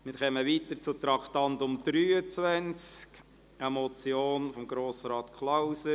Wir kommen zum Traktandum 23, einer Motion von Grossrat Klauser: